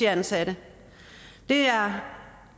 ansatte der